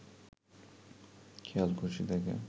খেয়ালখুশি থেকে